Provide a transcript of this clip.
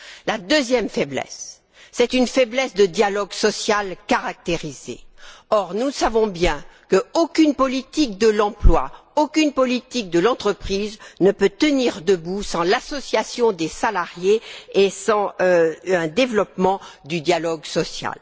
La deuxième faiblesse est une faiblesse caractérisée du dialogue social. Or, nous savons qu'aucune politique de l'emploi, aucune politique de l'entreprise ne peut tenir debout sans l'association des salariés et sans un développement du dialogue social.